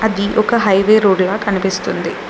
ఇది ఒక highway road ల కనిపిస్తుంది.